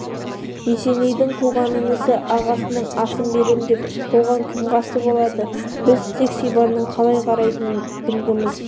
есенейдің туған інісі ағасының асын берем десе оған кім қарсы болады біз тек сибанның қалай қарайтынын білгіміз